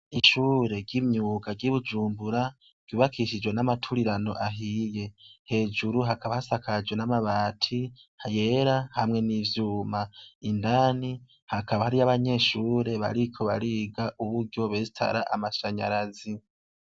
Ishure ry'imyuka ry'ibujumbura rubakishijwe n'amaturirano ahiye hejuru hakaba hasa kaje n'amabati hayera hamwe n'ivyuma indani hakaba hari y'abanyeshure bariko bariga uburyobesitara amashanyarazi.